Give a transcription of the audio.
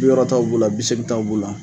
Bi wɔɔrɔtaw b'u la, bi seegintaw b'u la.